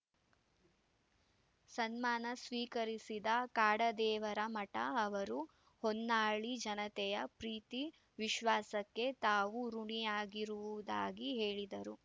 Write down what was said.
ಸನ್ಮಾನ ಸ್ವೀಕರಿಸಿದ ಕಾಡದೇವರಮಠ ಅವರು ಹೊನ್ನಾಳಿ ಜನತೆಯ ಪ್ರೀತಿ ವಿಶ್ವಾಸಕ್ಕೆ ತಾವು ಋುಣಿಯಾಗಿರುವುದಾಗಿ ಹೇಳಿದರು